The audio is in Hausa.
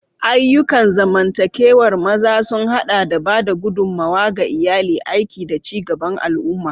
Ayyukan zamantakewar maza sun haɗa da ba da gudummawa ga iyali, aiki, da ci gaban al'umma.